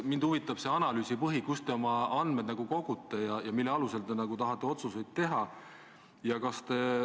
Mind huvitab see analüüsi põhi, kust te oma andmed kogute ja mille alusel te tahate otsuseid teha.